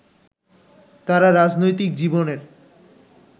তাঁর রাজনৈতিক জীবনের